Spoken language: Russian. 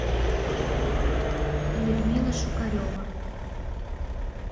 людмила шукарева